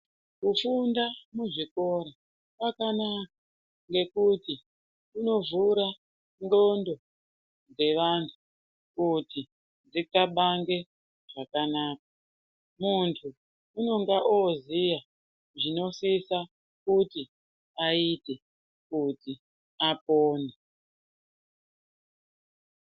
Kufunda muzvikora kwakanaka ngekuti kunovhura ndxondo dzevantu kuti dzixabange zvakanaka. Muntu unenga oziya zvinosisa kuti aite kuti apone.